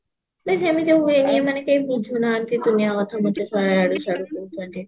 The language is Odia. ବେ ସେମତିଆ ହୁଏନି ଏମାନେ କେହି ବୁଝୁନାହାନ୍ତି ଦୁନିଆ କଥା ମୋତେ ଇଆଡୁ ସିଆଡୁ ସବୁ କହୁଛନ୍ତି